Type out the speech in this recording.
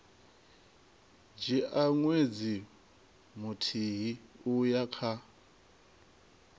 dzhia ṅwedzi muthihi uya kha